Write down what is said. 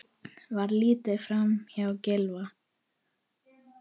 Var litið framhjá Gylfa?